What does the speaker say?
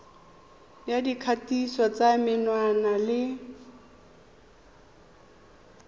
ya dikgatiso tsa menwana le